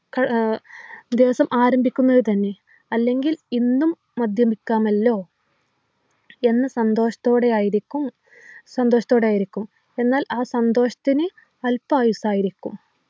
ക ആഹ് ദിവസം ആരംഭിക്കുന്നത് തന്നെ അല്ലെങ്കിൽ ഇന്നും മദ്യപിക്കാമല്ലോ എന്ന സന്തോഷത്തോടെയായിരിക്കും സന്തോഷത്തോടെയായിരിക്കും എന്നാൽ ആ സന്തോഷത്തിനു അല്പായുസ്സായിരിക്കും